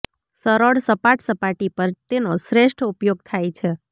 સરળ સપાટ સપાટી પર તેનો શ્રેષ્ઠ ઉપયોગ થાય છે